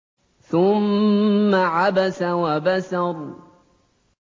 ثُمَّ عَبَسَ وَبَسَرَ